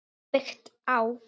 Byggt á